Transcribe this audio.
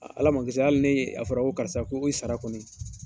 Ala ma kisira hali ni a fɔra ko karisa k'i sara kɔni